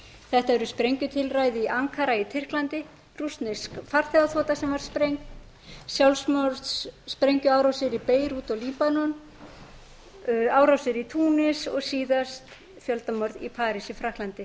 þetta eru sprengjutilræði í ankara í tyrklandi rússnesk farþegaþota sem var sprengd sjálfsmorðssprengjuárásir í beirút og líbanon árásir í túnis og síðast fjöldamorð í parís í frakklandi